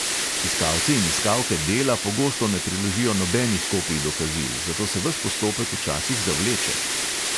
Iskalci in iskalke dela pogosto ne priložijo nobenih kopij dokazil, zato se ves postopek včasih zavleče.